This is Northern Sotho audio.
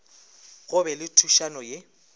go be le thušano ye